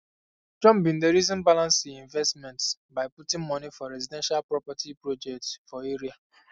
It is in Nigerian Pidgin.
john bin dey reason balance e investment by putting moni for residential property project for area